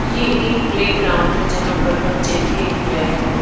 ये एक प्लेग्राउंड हैजहां पर बच्चे खेल रहे हैं।